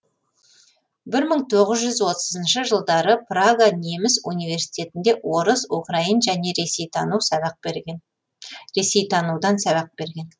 бір мың тоғыз жүз отызыншы жылдары прага неміс университетінде орыс украин және ресейтанудан сабақ берген